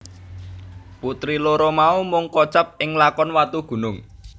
Putri loro mau mung kocap ing lakon Watugunung